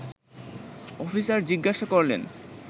officer জিজ্ঞাসা করলেন